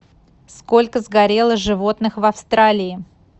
сколько сгорело животных в австралии